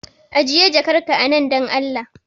Ajiye jakar ka a nan dan Allah